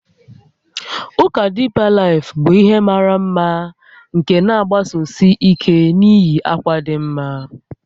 Ụka Deeper Life bụ ihe mara mma nke na-agbasosi ike na iyi akwa dị mma